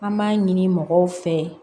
An b'a ɲini mɔgɔw fɛ